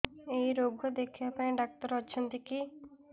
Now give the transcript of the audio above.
ଏଇ ରୋଗ ଦେଖିବା ପାଇଁ ଡ଼ାକ୍ତର ଅଛନ୍ତି କି